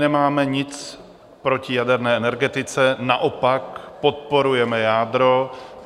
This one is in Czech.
Nemáme nic proti jaderné energetice, naopak podporujeme jádro.